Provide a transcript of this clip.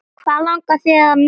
Hvað langar þig að mynda?